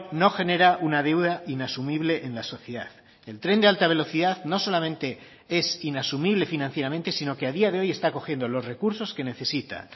no genera una deuda inasumible en la sociedad el tren de alta velocidad no solamente es inasumible financieramente sino que a día de hoy está cogiendo los recursos que necesita